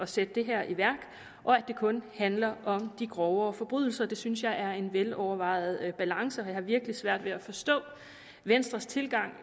sætte det her i værk og at det kun handler om de grovere forbrydelser det synes jeg er en velovervejet balance jeg har virkelig svært ved at forstå venstres tilgang